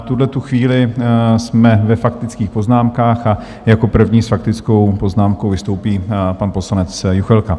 V tuhle chvíli jsme ve faktických poznámkách a jako první s faktickou poznámkou vystoupí pan poslanec Juchelka.